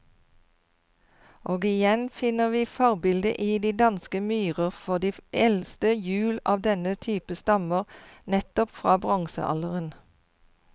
Og igjen finner vi forbildet i de danske myrer, for de eldste hjul av denne type stammer nettopp fra bronsealderen.